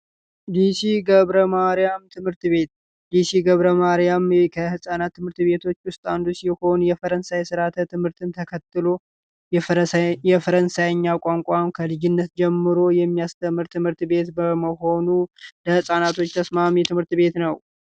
ገብረ ማርያም ትምህርት ቤት የሺ ገብረ ማርያም ከህጻናት ትምህርት ቤቶች ውስጥ አንዱ የሆኑ የፈረንሳይ ርዓተ ትምህርትን ተከትሎ የፈረሳ የፈረንሳይኛ ቋንቋው ከልጅነት ጀምሮ የሚያስተምር ትምህርት ቤት በመሆኑ ለፃናቶች ተስማሚ ትምህርት ቤት ነው